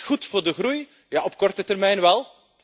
Is dit goed voor de groei? Ja, op korte termijn wel.